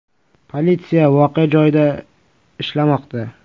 Politsiya voqea joyida ishlamoqda.